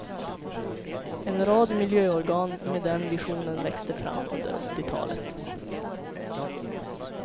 En rad miljöorgan med den visionen växte fram under åttiotalet.